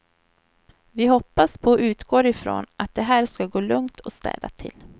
Vi hoppas på och utgår ifrån att det här ska gå lugnt och städat till.